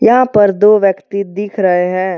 यहां पर दो व्यक्ति दिख रहे हैं।